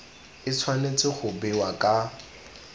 e tshwanetse go bewa ka